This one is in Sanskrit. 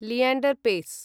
लिएण्डर् पेस्